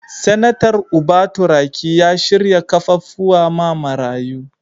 Senatar Uba Turaki ya shirya kaffafuwa ma marayu.